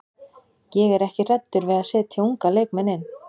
Ég er ekki hræddur við að setja unga leikmenn inn.